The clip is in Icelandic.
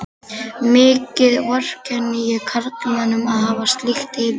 Mikið vorkenni ég karlmönnum að hafa slíkt yfir sér.